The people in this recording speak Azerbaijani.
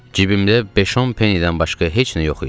Cibimdə beş-on penidən başqa heç nə yox idi.